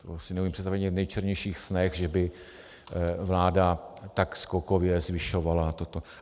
To si neumím představit ani v nejčernějších snech, že by vláda tak skokově zvyšovala toto.